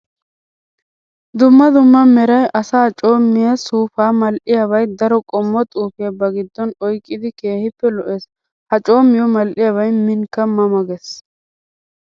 Dumma dumma meray asay coomiya suufa mal'iyabay daro qommo xuufiya ba gidon oyqqiddi keehippe lo'ees. Ha coomiyo mal'iyabay minkka ma ma gees.